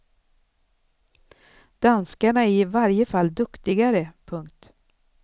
Danskarna är i varje fall duktigare. punkt